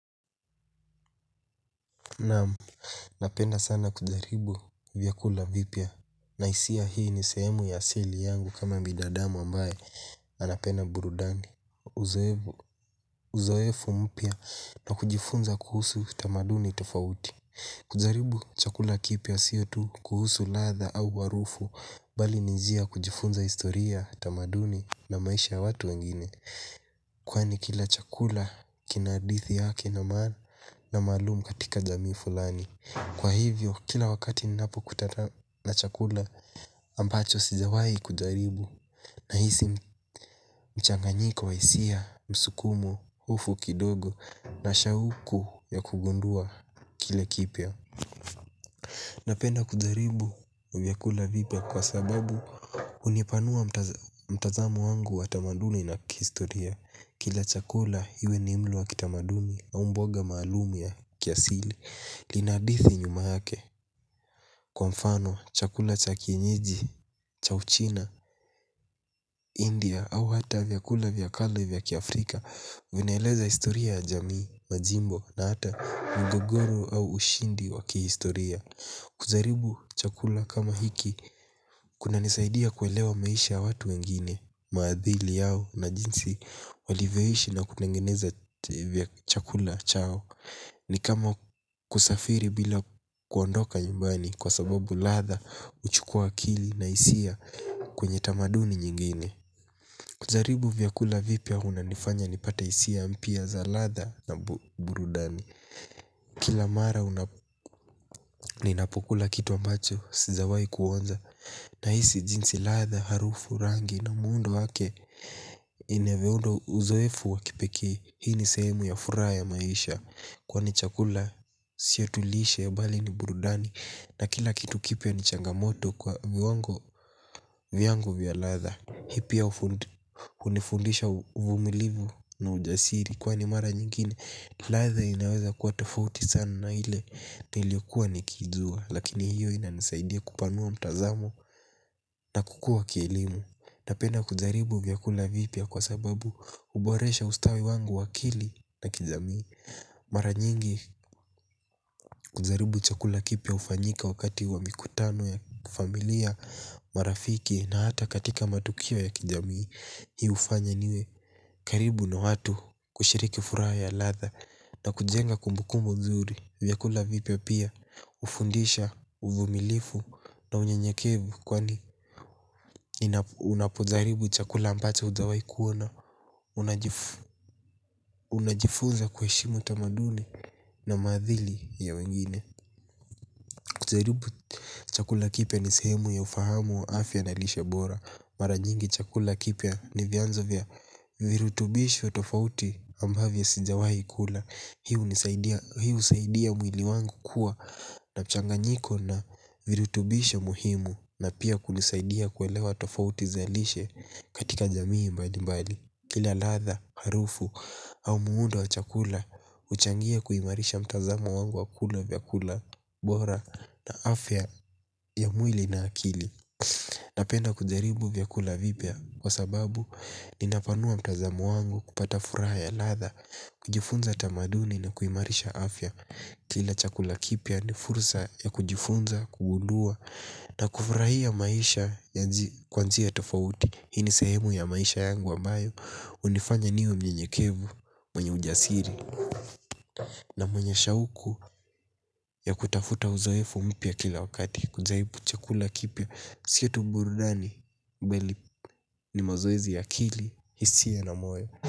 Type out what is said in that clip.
Naam, napenda sana kujaribu vyakula vipiya. Na hisia hii ni sehemu ya asili yangu kama binadamu ambaye anapenda burudani. Uzoefu mpya na kujifunza kuhusu tamaduni tofauti kujaribu chakula kipya sio tu kuhusu latha au harufu bali ni njia ya kujifunza historia tamaduni na maisha ya watu wengine kwani kila chakula kina hadithi yake na maalumu katika jamii fulani. Kwa hivyo kila wakati ninapo kutata na chakula ambacho sijawahi kujaribu. Nahisi mchanganyika wa hisia, msukumo, ufu kidogo na shauku ya kugundua kile kipya. Napenda kujaribu vyakula vipya kwa sababu hunipanua mtazamo wangu wa tamaduni na kihistoria. Kila chakula iwe ni mlo wa kitamaduni au mboga maalum ya kiasili. Lina hadithi nyuma yake. Kwa mfano chakula cha kienyeji, cha uchina, india au hata vyakula vya kale vya kiafrika vinaeleza historia ya jamii, majimbo na hata mgogoro au ushindi wakihistoria. Kujaribu chakula kama hiki kuna nisaidia kuelewa maisha ya watu wengine. Maadhili yao na jinsi walivyoishi na kutengeneza chakula chao. Ni kama kusafiri bila kuondoka nyumbani. Kwa sababu latha huchukua akili na hisia kwenye tamaduni nyingine kujaribu vyakula vipya huwa inanifanya nipate hisia mpya za latha na burudani. Kila mara ninapokula kitu ambacho sijawahi kuonja nahisi jinsi latha harufu rangi na muundo wake inavyounda uzoefu wa kipee. Hii ni sehemu ya furaha ya maisha kwani chakula sio tu lishe ya bali ni burudani. Na kila kitu kipya ni changamoto kwa viwango vya latha. Hii pia hunifundisha uvumilivu na ujasiri. Kwani mara nyingine latha inaweza kuwa tofauti sana na ile niliokua nikiijua. Lakini hiyo inanisaidia kupanua mtazamo na kukua kielimu. Napenda kujaribu vyakula vipya kwa sababu huboresha ustawi wangu wa akili na kijamii. Mara nyingi kujaribu chakula kipya hufanyika wakati wa mikutano ya kifamilia marafiki na hata katika matukio ya kijamii. Hii hufanya niwe karibu na watu kushiriki furaha ya latha na kujenga kumbukumbu nzuri vyakula vipya pia hufundisha uvumilivu na unyenyekevu kwani unapojaribu chakula ambacho hujawahi kuona. Unajifunza kuheshimu tamaduni na maadhili ya wengine. Kujaribu chakula kipya ni sehemu ya ufahamu wa afya na lishe bora. Mara nyingi chakula kipya ni vyanzo vya virutubisho tofauti ambavyo sijawahi kula. Hii husaidia mwili wangu kuwa na mchanganyiko na virutubishe muhimu na pia kulisaidia kuelewa tofauti za lishe katika jamii mbalimbali. Kila latha, harufu au muundo wa chakula huchangia kuimarisha mtazamo wangu wa kula vyakula bora na afya ya mwili na akili. Napenda kujaribu vyakula vipya, kwa sababu ninapanua mtazamo wangu kupata furaha ya latha, kujifunza tamaduni na kuimarisha afya kila chakula kipya ni fursa ya kujifunza kugundua na kufurahia maisha kwa njia tofauti hii ni sehemu ya maisha yangu ambayo hunifanya niwe mnyenyekevu mwenye ujasiri na mwenye shauku ya kutafuta uzoefu mpya kila wakati, kujaribu chakula kipya sio tu burudani bali ni mazoezi ya akili. Hisia na moyo.